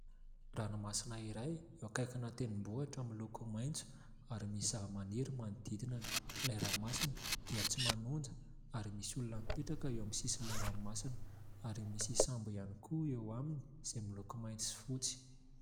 Ranomasina iray eo akaikin'ny tendrombohitra miloko maintso ary misy zava-maniry manodidina ilay ranomasina, dia tsy manonja, ary misy olona mipetraka eo amin'ny sisin'ilay ranomasina ary misy sambo ihany koa eo aminy izay miloko mainty sy fotsy.